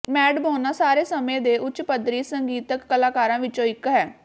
ਮੈਡਮੋਨਾ ਸਾਰੇ ਸਮੇਂ ਦੇ ਉੱਚ ਪੱਧਰੀ ਸੰਗੀਤਕ ਕਲਾਕਾਰਾਂ ਵਿੱਚੋਂ ਇੱਕ ਹੈ